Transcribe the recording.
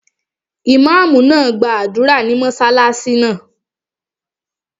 Ìmáàmù náà gbàdúrà ní mọ́sálásí náà